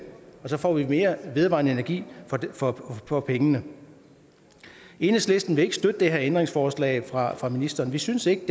og så får vi mere vedvarende energi for for pengene enhedslisten vil ikke støtte de her ændringsforslag fra fra ministeren vi synes ikke